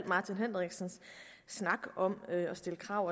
martin henriksens snak om at stille krav